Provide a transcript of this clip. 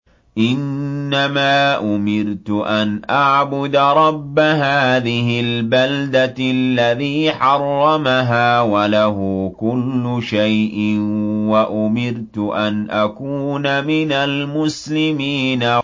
إِنَّمَا أُمِرْتُ أَنْ أَعْبُدَ رَبَّ هَٰذِهِ الْبَلْدَةِ الَّذِي حَرَّمَهَا وَلَهُ كُلُّ شَيْءٍ ۖ وَأُمِرْتُ أَنْ أَكُونَ مِنَ الْمُسْلِمِينَ